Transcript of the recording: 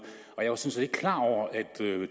og jeg var sådan set ikke klar over at